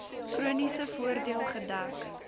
chroniese voordeel gedek